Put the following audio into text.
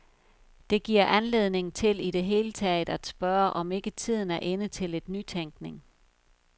Det giver anledning til i det hele taget at spørge, om ikke tiden er inde til lidt nytænkning.